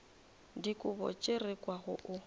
dikobo tše re kwago o